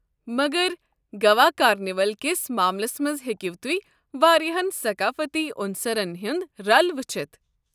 مگر گوا کارنیولَ كِس معاملس منز ہیٚکِو تُہۍ واریاہن ثقافٔتی عُنصَرن ہٖند رل وٕچھِتھ۔